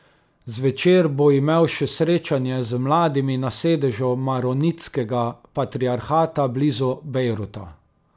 Zvečer bo imel še srečanje z mladimi na sedežu maronitskega patriarhata blizu Bejruta.